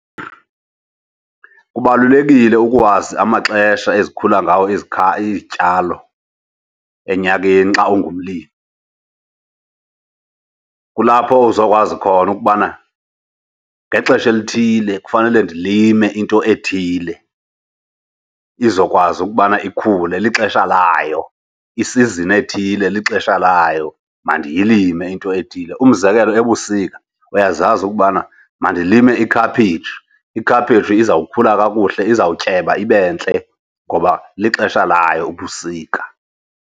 Kubalulekile ukuwazi amaxesha ezikhula ngawo izityalo enyakeni xa ungumlimi. Kulapho uzokwazi khona ukubana ngexesha elithile kufanele ndilime into ethile, izokwazi ukubana ikhule lixesha layo. Isizini ethile lixesha layo, mandiyilime into ethile. Umzekelo ebusika uyazazi ukubana mandilime ikhaphetshu. Ikhaphetshu izawukhula kakuhle izawutyeba ibe ntle ngoba lixesha layo ubusika.